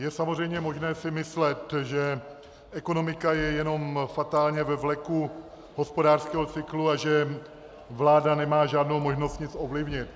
Je samozřejmě možné si myslet, že ekonomika je jenom fatálně ve vleku hospodářského cyklu a že vláda nemá žádnou možnost nic ovlivnit.